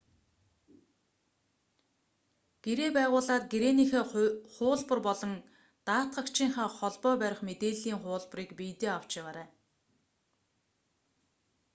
гэрээ байгуулаад гэрээнийхээ хуулбар болон даатгагчийнхаа холбоо барих мэдээллийн хуулбарыг биедээ авч яваарай